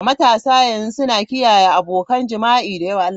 Matasa yanzu suna kiyaye abokan jima'i da yawa.